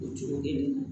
O cogo kelen na